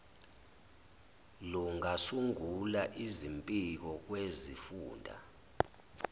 lungasungula izimpiko kwizifunda